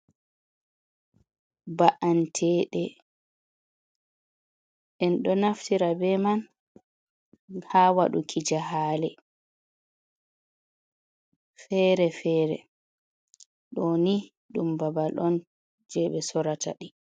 Ba’antede en do naftira be man ha waduki ja hale fere-fere, do ni dum babal on je be sorata di.